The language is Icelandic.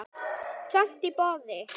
Tvennt í boði.